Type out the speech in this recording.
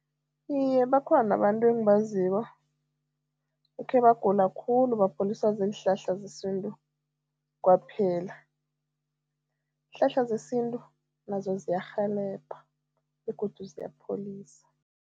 Iye, bakhona abantu engibaziko ekhebagula khulu, baguliswa ziinhlahla zesintu, kwaphela. Iinhlahla zesintu nazo ziyarhelebha begodu ziyapholisa.